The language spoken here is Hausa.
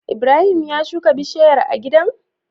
Ibrahim ya shuka bishayar a gidan?